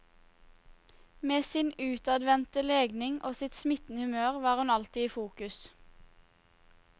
Med sin utadvendte legning og sitt smittende humør var hun alltid i fokus.